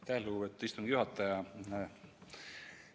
Aitäh, lugupeetud istungi juhataja!